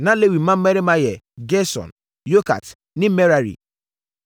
Na Lewi mmammarima yɛ: Gerson, Kohat ne Merari.